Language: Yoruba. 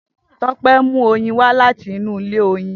Tope n mu oyin wa lati inu ile oyin.